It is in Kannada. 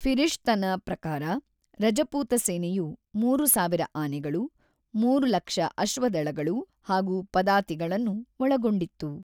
ಫಿರಿಷ್ತನ ಪ್ರಕಾರ, ರಜಪೂತ ಸೇನೆಯು ಮೂರು ಸಾವಿರ ಆನೆಗಳು, ಮೂರು ಲಕ್ಷ ಅಶ್ವದಳಗಳು ಹಾಗು ಪದಾತಿಗಳನ್ನು ಒಳಗೊಂಡಿತ್ತು.